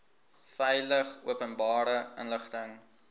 veilig openbare inligting